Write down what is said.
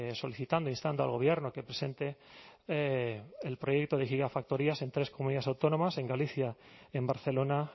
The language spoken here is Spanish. solicitando instando al gobierno que presente el proyecto de gigafactorías en tres comunidades autónomas en galicia en barcelona